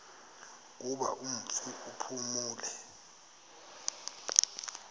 kuba umfi uphumile